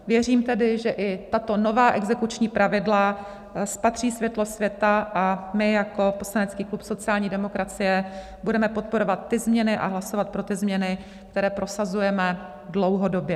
Věřím tedy, že i tato nová exekuční pravidla spatří světlo světa, a my jako poslanecký klub sociální demokracie budeme podporovat ty změny a hlasovat pro ty změny, které prosazujeme dlouhodobě.